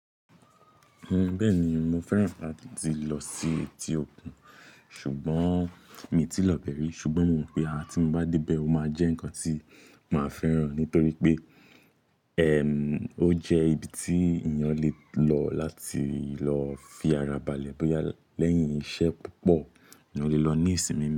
Bẹ́ẹ̀ni mo fẹ́ràn láti lọ sí etí òkun ṣùgbọ́n mi ò tíì lọ bẹ̀rẹ̀ rí ṣùgbọ́n mo mọ̀ pé àti mo bá dé bẹ́ẹ̀ ó máa jẹ́ ǹkan tí màá fẹ́ràn nítorí pé ẹ̀ ò jẹ́ ibi tí èèyàn lè lọ láti lọ fi ara balẹ̀ bóyá lẹ́yìn iṣẹ́ púpọ̀ eeyan lè lọ ní ìsinmi.